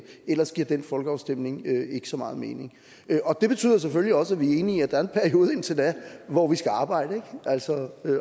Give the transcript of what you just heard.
ellers giver den folkeafstemning ikke så meget mening og det betyder selvfølgelig også at vi er enige i at der er en periode indtil da hvor vi skal arbejde altså